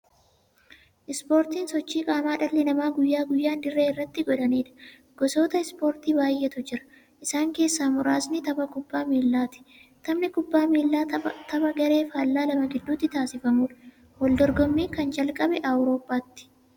Ispoortiin sochii qaamaa dhalli namaa guyyaa guyyaan dirree irratti godhaniidha. Gosoota ispoortii baay'eetu jira. Isaan keessaa muraasni tabba kubbaa miillaati. Taphni kubbaa miillaa tapha garee faallaa lama gidduutti taasifamuudha. Waldorgommiin kan jalqabe Awuroopaatti.